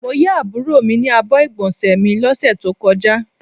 Mó yà àbúrò mi ní àbọ̀ igbonse mí lọ ṣe tó kọjá